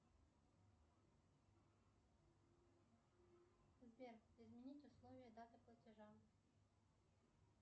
сбер изменить условия даты платежа